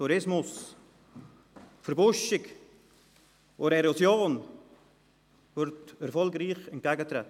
Tourismus, Verbuschung und der Erosion wird erfolgreich entgegengetreten.